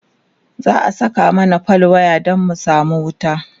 za'a Saka mana fal waya Dan mu samu wuta